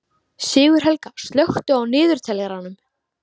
Sigurhelga, slökktu á niðurteljaranum.